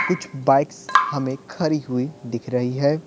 कुछ बाइक्स हमें खरी हुई दिख रही है।